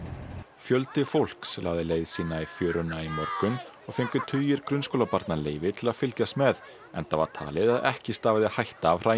fjöldi fólks lagði leið sína í fjöruna í morgun og fengu tugir grunnskólabarna leyfi til að fylgjast með enda var talið að ekki stafaði hætta af